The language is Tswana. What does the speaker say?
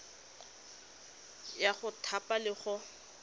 ya go thapa le go